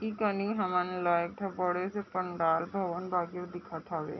ई कनि हमार बड़े -सॆ पंडाल भवन लगे दिखत हावे।